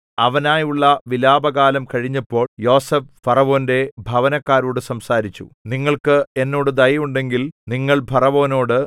അവനായുള്ള വിലാപകാലം കഴിഞ്ഞപ്പോൾ യോസേഫ് ഫറവോന്റെ ഭവനക്കാരോടു സംസാരിച്ചു നിങ്ങൾക്ക് എന്നോട് ദയ ഉണ്ടെങ്കിൽ നിങ്ങൾ ഫറവോനോട്